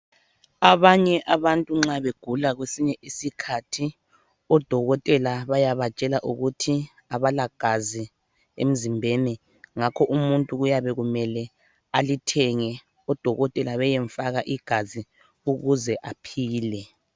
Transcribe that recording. Abanye abantu nxa begula kwesinye isikhathi odokotela bayabatshela ukuthi abalagazi emzimbeni ngakho umuntu kuyabe kumele alithenge odokotela beyemfaka igazi ukuze aphile.